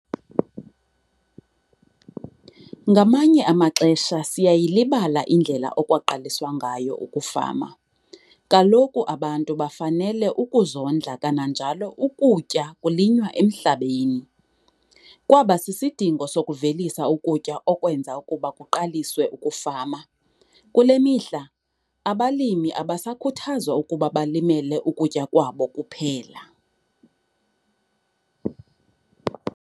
Ngamanye amaxesha siyayilibala indlela okwaqaliswa ngayo ukufama - kaloku abantu bafanele ukuzondla kananjalo ukutya kulinywa emhlabeni. Kwaba sisidingo sokuvelisa ukutya okwenza ukuba kuqaliswe ukufama. Kule mihla, abalimi abasakhuthazwa ukuba balimele ukutya kwabo kuphela.